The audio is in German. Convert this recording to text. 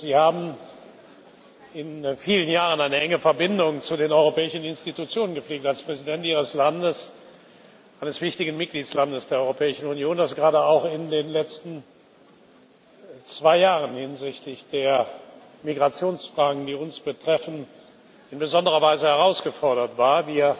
Sie haben in vielen Jahren eine enge Verbindung zu den europäischen Institutionen gepflegt, als Präsident Ihres Landes, eines wichtigen Mitgliedstaats der Europäischen Union, dere gerade auch in den letzten zwei Jahren hinsichtlich der Migrationsfragen, die uns betreffen, in besonderer Weise herausgefordert war.